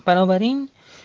поговорим